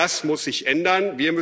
ist. Das muss sich ändern!